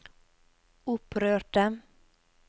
opprørte